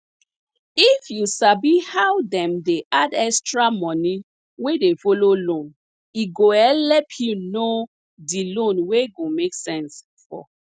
if you sabi how dem dey add extra money wey dey follow loan e go helep you know di loan wey go make sense for